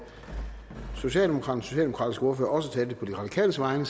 den socialdemokratiske ordfører også talte på de radikales vegne